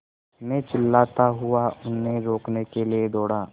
मैं चिल्लाता हुआ उन्हें रोकने के लिए दौड़ा